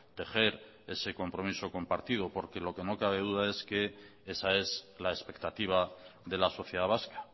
tejer ese compromiso compartido porque lo que no cabe duda es que esa es la expectativa de la sociedad vasca